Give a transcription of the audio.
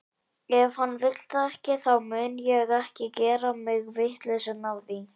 Ef hann vill það ekki, þá mun ég ekki gera mig vitlausan af því.